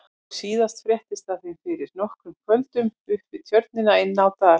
Nú síðast fréttist af þeim fyrir nokkrum kvöldum upp við Tjörnina inni á Dal.